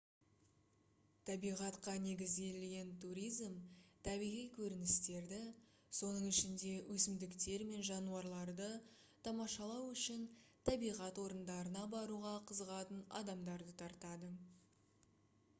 табиғатқа негізделген туризм табиғи көріністерді соның ішінде өсімдіктер мен жануарларды тамашалау үшін табиғат орындарына баруға қызығатын адамдарды тартады